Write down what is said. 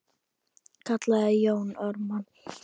kallaði Jón Ármann.